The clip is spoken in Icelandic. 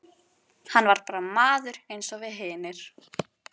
Hann var bara maður eins og við hinir.